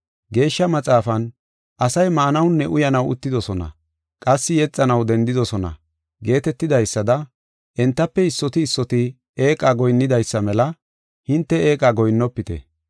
Geeshsha Maxaafan, “Asay maanawunne uyanaw uttidosona; qassi yexanaw dendidosona” geetetidaysada entafe issoti issoti eeqa goyinnidaysa mela hinte eeqa goyinnofite.